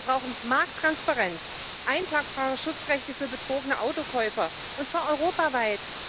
Wir brauchen Markttransparenz, einklagbare Schutzrechte für betrogene Autokäufer, und zwar europaweit.